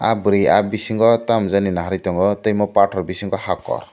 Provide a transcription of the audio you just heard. bwri ahh bisingo tamo jaani nai tongo tai omo pathor bisingo hakor.